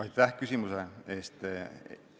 Aitäh küsimuse eest!